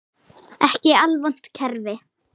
Ekki alvont kerfi.